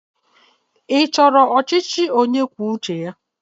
Ị chọrọ ọchịchị onyekwuoucheya?